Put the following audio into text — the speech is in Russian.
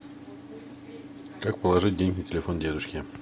как положить деньги на телефон дедушке